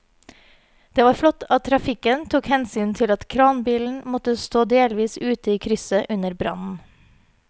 Det var flott at trafikken tok hensyn til at kranbilen måtte stå delvis ute i krysset under brannen.